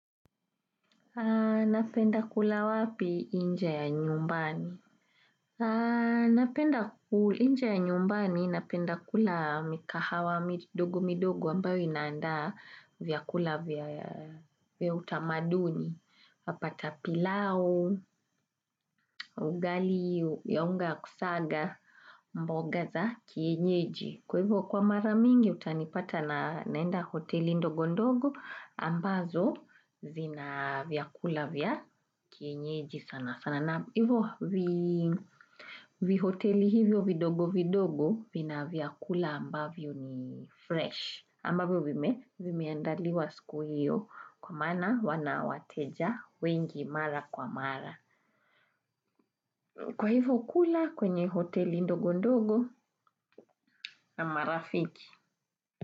Napenda kula wapi inje ya nyumbani? Napenda kula inja ya nyumbani napenda kula mikahawa midogo midogo ambayo inaanda vyakula vya utamaduni. Wapata pilau, ugali ya unga kusaga mboga za kienyeji. Kwa hivyo kwa mara mingi utanipata naenda hoteli ndogo ndogo ambazo zinavyakula vya kienyeji sana sana. Hivyo vihoteli hivyo vidogo vidogo vina vyakula ambavyo ni fresh. Ambavo vime vimeandaliwa siku hiyo kwa mana wanawateja wengi mara kwa mara. Kwa hivo ukula kwenye hoteli ndogo ndogo na marafiki.